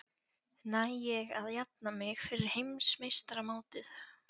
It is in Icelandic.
Næ ég að jafna mig fyrir heimsmeistaramótið?